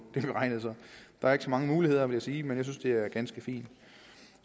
det beregnet der er ikke så mange muligheder vil jeg sige men jeg synes det er ganske fint